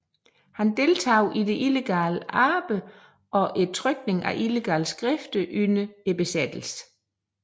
Han deltog i det illegale arbejde og trykningen af illegale skrifter under besættelsen